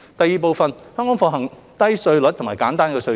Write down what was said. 二香港奉行低稅率及簡單稅制。